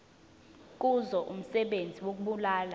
kuzo umsebenzi wokubulala